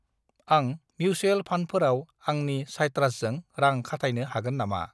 आं मिउसुएल फान्डफोराव आंनि साइट्रासजों रां खाथायनो हागोन नामा?